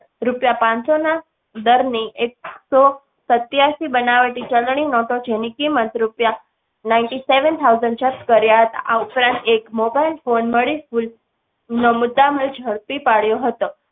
રૂપિયા પાનસો ના દર ની એક સો સત્યાસી બનાવટી ચલણી નોટો જેની કીમત રૂપિયા. ninety-seven thousand જપ્ત કર્યા હતા આ ઉપરાંત mobile phone મળી કુલ મુદ્દામાલ ઝડપી પાડ્યો હતો.